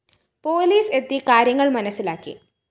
police എത്തി കാര്യങ്ങള്‍ മനസ്സിലാക്കി